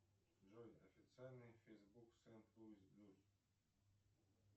джой официальный фэйсбук